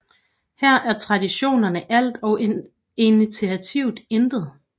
Her er traditionerne alt og initiativ intet